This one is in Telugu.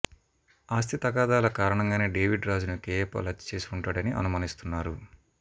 ఆస్తి తగాదాల కారణంగానే డేవిడ్ రాజును కేఏ పాల్ హత్య చేసి ఉంటాడని అనుమానిస్తున్నారు